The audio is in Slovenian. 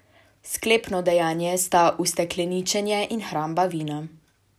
Sklepno dejanje sta ustekleničenje in hramba vina.